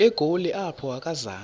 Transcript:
egoli apho akazanga